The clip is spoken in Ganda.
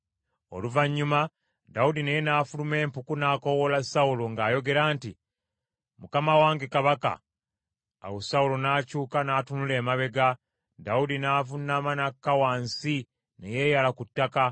Oluvannyuma, Dawudi naye n’afuluma empuku, n’akoowoola Sawulo ng’ayogera nti, “Mukama wange kabaka!” Awo Sawulo n’akyuka n’atunula emabega, Dawudi n’avuunama n’akka wansi ne yeeyala ku ttaka.